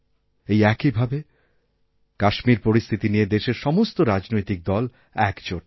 এই একই ভাবেকাশ্মীর পরিস্থিতি নিয়ে দেশের সমস্ত রাজনৈতিক দল একজোট